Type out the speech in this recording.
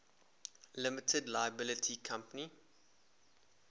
limited liability company